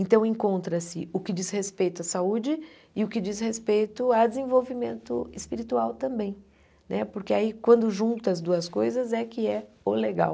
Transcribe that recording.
Então encontra-se o que diz respeito à saúde e o que diz respeito à desenvolvimento espiritual também, né porque aí quando junta as duas coisas é que é o legal.